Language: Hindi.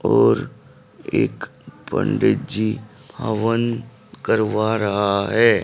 और एक पंडित जी हवन करवा रहा है।